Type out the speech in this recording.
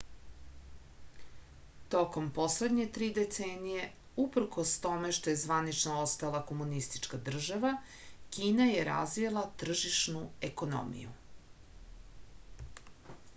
tokom poslednje tri decenije uprkos tome što je zvanično ostala komunistička država kina je razvila tržišnu ekonomiju